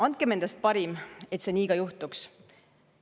Andkem endast parim, et see nii ka juhtuks!